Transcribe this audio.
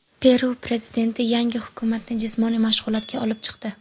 Peru prezidenti yangi hukumatni jismoniy mashg‘ulotga olib chiqdi.